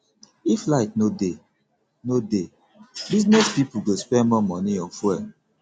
if light no dey no dey business pipo go spend more money on fuel